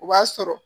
O b'a sɔrɔ